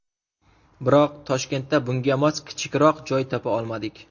Biroq Toshkentda bunga mos kichikroq joy topa olmadik.